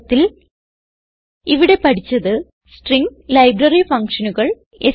ചുരുക്കത്തിൽ ഇവിടെ പഠിച്ചത് സ്ട്രിംഗ് ലൈബ്രറി ഫങ്ഷനുകൾ